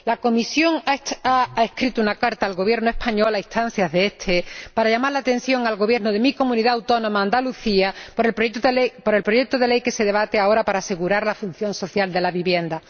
La Comisión ha escrito una carta al Gobierno español, a instancias de este, para llamar la atención al Gobierno de mi Comunidad autónoma, Andalucía, por el proyecto de ley que se debate ahora para asegurar la función social de la vivienda.